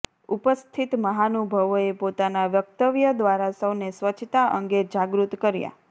ઉપસ્થિત મહાનુભાવોએ પોતાના વક્તવ્ય દ્વારા સૌને સ્વચ્છતા અંગે જાગૃત કર્યા